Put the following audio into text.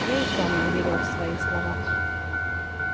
я и сам не верил в свои слова